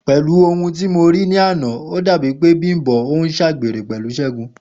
Pè̩lú ohun tí mo rí lánàá, ó dàbí e̩ni pé Bím̀bó̩ ń s̩àgbèrè pè̩lú S̩é̩gun